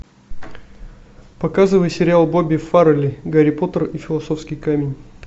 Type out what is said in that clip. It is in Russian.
показывай сериал бобби фаррелли гарри поттер и философский камень